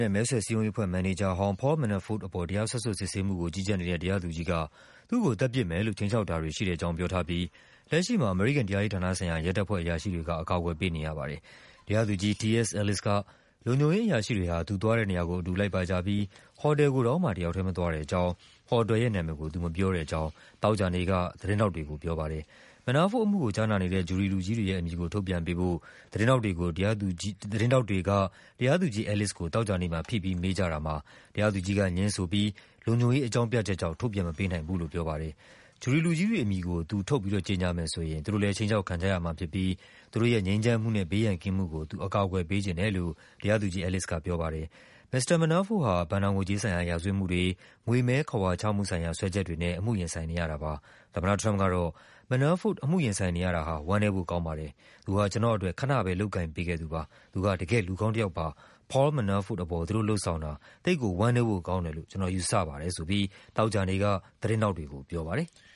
ရဲ့ မဲဆွယ်စည်းရုံးရေးအဖွဲ့ မန်နေဂျာဟောင်း Paul Manafort အပေါ် တရားစွဲဆို စစ်ဆေးမှုကို ကြီးကြပ်နေတဲ့ တရားသူကြီးက သူ့ကို သတ်ပစ်မယ်လို့ ခြိမ်းခြောက်တာတွေ ရှိတယ်လို့ ပြောထားပြီး လက်ရှိမှာ အမေရိကန် တရားရေးဌာနဆိုင်ရာ ရဲတပ်ဖွဲ့ အရာရှိတွေက အကာအကွယ်ပေးနေရပါတယ်။ တရားသူကြီး T. S. Ellis က လုံခြုံရေးအရာရှိတွေဟာ သူသွားတဲ့နေရာကို အတူလိုက်ပါကြပြီး ဟော်တယ်ကိုတောင်မှ တယောက်ထဲမသွားတဲ့အကြောင်း၊ ဟော်တယ်ရဲ့နာမည်ကို သူမပြောကြောင်း သောကြာနေ့က သတင်းထောက်တွေကို ပြောပါတယ်။ Manafort အမှုကိုကြားနာနေတဲ့ jury လူကြီးတွေရဲ့အမည်ကို ထုတ်ပြန်ပေးဖို့ သတင်းထောက်တွေကို တရားသူကြီး Ellis သောကြာနေ့မှာ ဖိပြီးမေးကြတာကို တရားသူကြီးကငြင်းပြီး လုံခြုံရေးအကြောင်းပြချက်ကြောင့် မထုတ်ပြန်နိုင်ဘူးလို့ ပြောပါ တယ်။ ဂျူရီလူကြီးတွေအမည်ကို သူထုတ်ကြေညာမယ်ဆိုရင် သူတို့လည်း ခြိမ်းခြောက်ခံကြရမှာဖြစ်ပြီး သူတို့ရဲ့ ငြိမ်းချမ်းမှုနဲ့ ဘေးရန်ကင်းမှုကို သူ အကာအကွယ်ပေးချင်တယ်လို့ တရားသူကြီး Ellis ကပြောပါတယ်။ မစ္စတာ Manafort ဟာ ဘဏ္ဍာငွေကြေးဆိုင်ရာ ရာဇဝတ်မှုတွေ၊ ငွေမည်းခဝါချမှုဆိုင်ရာ စွဲချက်တွေနဲ့ အမှုရင်ဆိုင်နေရတာပါ။ သမ္မတထရမ့်ပ်ကတော့ “Manafort အမှုရင်ဆိုင်နေရတာဟာ ဝမ်းနည်းဖို့ကောင်းပါတယ်။ သူဟာ ကျနော့်အတွက် ခနပဲ လုပ်ကိုင် ပေးခဲ့သူပါ။ သူဟာ တကယ့်လူကောင်းတယောက်ပါ။ Paul Manafort အပေါ် သူတို့လုပ်ဆောင်တာ သိပ်ကိုဝမ်းနည်းဖို့ ကောင်းတယ်လို့ ကျနော်ယူဆပါတယ်” ဆိုပြီး သောကြာနေ့က သတင်းထောက်တွေကို ပြောပါတယ်။